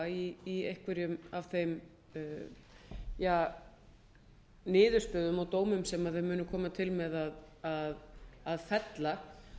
vanhæfa í einhverjum af þeim niðurstöðum og dómum sem þeir munu koma til með að fella